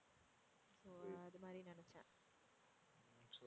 so அது மாதிரின்னு நினைச்சேன்.